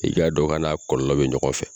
I ka dɔn k'a na kɔlɔlɔ be ɲɔgɔn fɛ